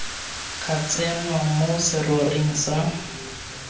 ka tsenngwa mo seroring sa